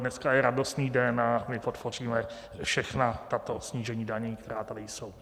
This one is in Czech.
Dneska je radostný den a my podpoříme všechna tato snížení daní, která tady jsou.